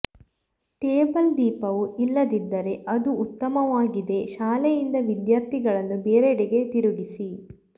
table ದೀಪವು ಇಲ್ಲದಿದ್ದರೆ ಅದು ಉತ್ತಮವಾಗಿದೆ ಶಾಲೆಯಿಂದ ವಿದ್ಯಾರ್ಥಿಗಳನ್ನು ಬೇರೆಡೆಗೆ ತಿರುಗಿಸಿ